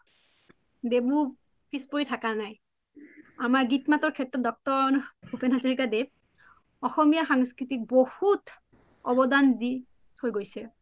দেৱও পিচ পৰি থাকা নাই আমাৰ গীতৰ মাতৰ সেত্ৰত ড° ভূপেন হাজৰীকা দেৱ অসমীয়া সংস্কৃতিক বহুত অবদান দি থই গৈছে